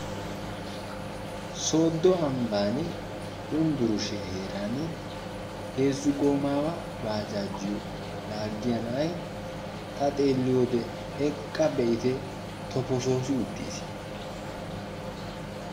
Soodo ambban yunburshiya heeraani heezzu goomawa bajajiyo laaggiya na'ay ta xeelliyode eqqa be'itte tofosoossi uttiis.